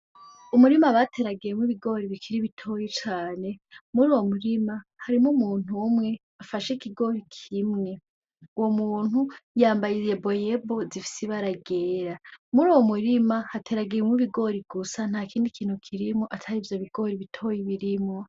Umurima bateragiyemwo ibigori bikiri bitoyi cane, muruwo murima, harimwo umuntu umwe afashe ikigori kimwe, uwo muntu yambaye yeboyebo zifise ibara ryera. Muruwo murima hateragiyemwo ibigori gusa ntakindi kintu kirimwo atari ivyo bigori bitoyi birimwo.